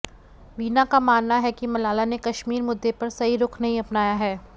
वीना का मानना है कि मलाला ने कश्मीर मुद्दे पर सही रुख नहीं अपनाया है